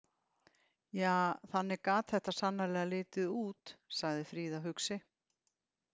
Ja, þannig gat þetta sannarlega litið út, sagði Fríða hugsi.